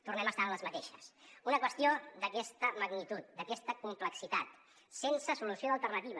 tornem a estar en les mateixes una qüestió d’aquesta magnitud d’aquesta complexitat sense solució d’alternativa